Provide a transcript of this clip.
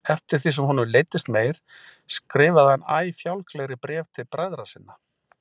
Eftir því sem honum leiddist meir skrifaði hann æ fjálglegri bréf til bræðra sinna.